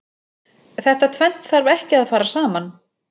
Þetta tvennt þarf ekki að fara saman.